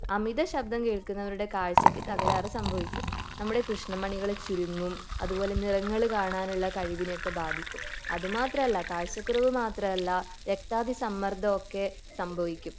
അമിത ശബ്ദം കേള്കുന്നവരുടെ കാഴ്ചക്ക് തകരാർ സംഭവിക്കും നമ്മടെ കൃഷ്ണമണികൾ ചുരുങ്ങും അതുപോലെ നിറങ്ങൾ കാണാനുള്ള കഴിവിനെ ഒക്കെ ബാധിക്കും അതുമാത്രം അല്ല കാഴ്ച്ച കുറവ് മാത്രം അല്ല രക്താതിസമ്മർദ്ദം ഒക്കെ സംഭവിക്കും